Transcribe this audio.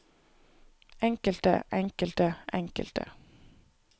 enkelte enkelte enkelte